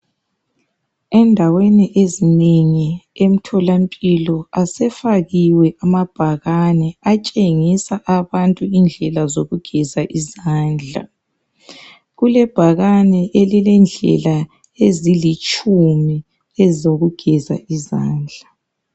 Endaweni ezinengi emtholampilo asefakiwe amabhakane atshengisa abantu indlela zokugeza izandla . kulebhakane elilendlela ezilitshumi ezokugeza izandla.